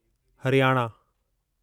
Haryana